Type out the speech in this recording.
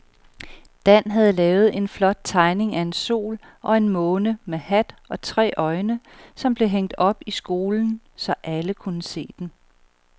Dan havde lavet en flot tegning af en sol og en måne med hat og tre øjne, som blev hængt op i skolen, så alle kunne se den.